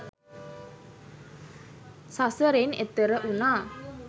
සසරෙන් එතෙර වුණා